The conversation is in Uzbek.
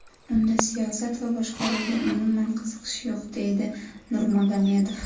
Unda siyosat va boshqaruvga umuman qiziqish yo‘q”, deydi Nurmagomedov.